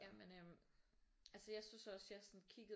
Jamen øh altså jeg synes også jeg sådan kiggede